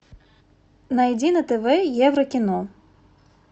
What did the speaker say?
найди на тв еврокино